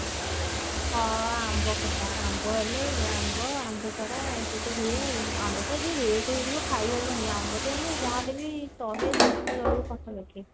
ହଁ ଆମ୍ବ ଖଟା ଆମ୍ବ ହେଲେ ଆମ୍ବ ଆମ୍ବ ଶଢା ଏ ସବୁ ତ ହୁଏ ଆଉ ଆମ୍ବ ଶଢା ତ ଯଉ rate ହେଇଥିବ ଖାଇହବନି ଆମ୍ବ ତ ଏଇନେ ଯାହା ହେଲେ ବି ଶହେ ଦେଢଶହ ରହିବ ପାଖାପାଖି